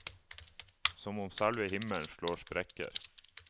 Som om selve himmelen slår sprekker.